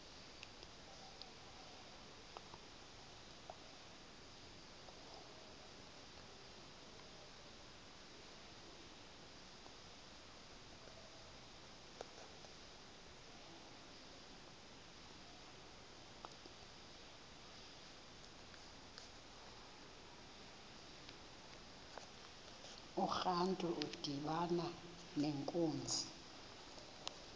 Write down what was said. urantu udibana nenkunzi